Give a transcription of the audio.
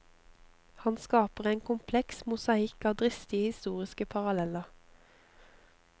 Han skaper en kompleks mosaikk av dristige historiske paralleller.